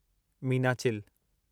Meenachil